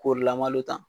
K'ori lamalo ta